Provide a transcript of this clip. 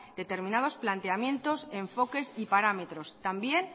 determinados planteamientos enfoques y parámetros también